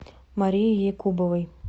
марии якубовой